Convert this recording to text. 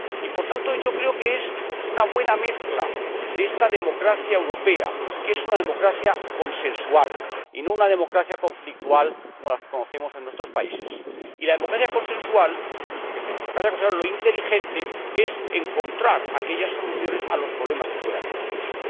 Por tanto, creo que es una buena mezcla de esta democracia europea, que es una democracia consensual y no una democracia conflictual como las que conocemos en nuestros países. Y en la democracia consensual lo inteligente es encontrar soluciones a los problemas que puedan plantearse.